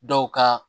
Dɔw ka